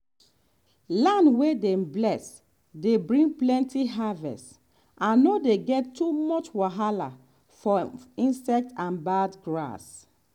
land wey dem bless dey bring plenty harvest and no dey get too much wahala from insects and bad grass.